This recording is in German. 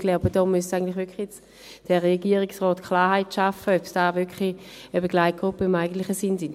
Ich glaube, hier muss der Regierungsrat Klarheit schaffen, ob es Begleitgruppen im eigentlichen Sinn sind.